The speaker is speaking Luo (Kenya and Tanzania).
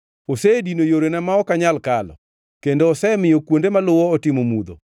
Osedino yorena ma ok anyal kalo; kendo osemiyo kuonde maluwo otimo mudho.